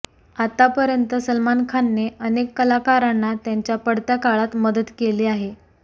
आतापर्यंत सलमान खानने अनेक कलाकरांना त्यांच्या पडत्या काळात मदत केली आहे